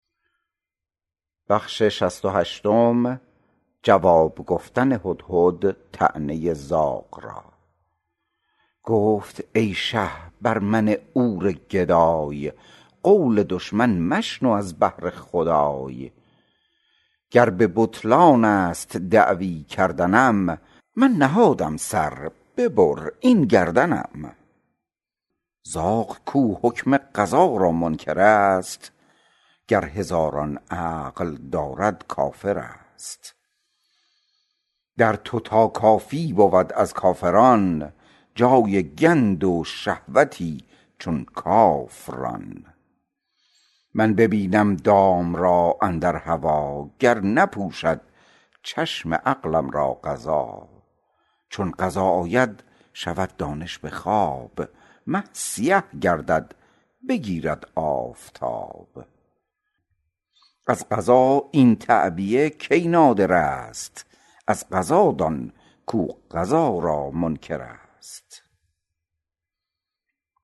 گفت ای شه بر من عور گدای قول دشمن مشنو از بهر خدای گر به بطلانست دعوی کردنم من نهادم سر ببر این گردنم زاغ کو حکم قضا را منکرست گر هزاران عقل دارد کافرست در تو تا کافی بود از کافران جای گند و شهوتی چون کاف ران من ببینم دام را اندر هوا گر نپوشد چشم عقلم را قضا چون قضا آید شود دانش بخواب مه سیه گردد بگیرد آفتاب از قضا این تعبیه کی نادرست از قضا دان کو قضا را منکرست